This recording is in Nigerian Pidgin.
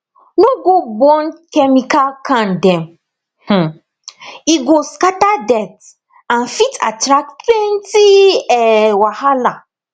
no go burn chemical can dem um e go scatter dirt and fit attract plenty um wahala